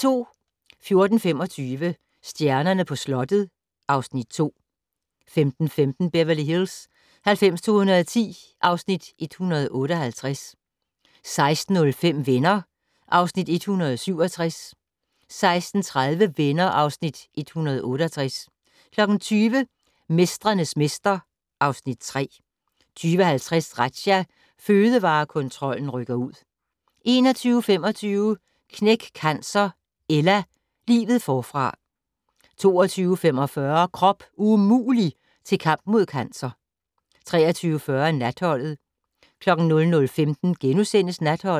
14:25: Stjernerne på slottet (Afs. 2) 15:15: Beverly Hills 90210 (Afs. 158) 16:05: Venner (Afs. 167) 16:30: Venner (Afs. 168) 20:00: Mestrenes mester (Afs. 3) 20:50: Razzia - Fødevarekontrollen rykker ud 21:25: Knæk Cancer: Ella - livet forfra 22:45: Krop umulig - til kamp mod cancer 23:40: Natholdet 00:15: Natholdet *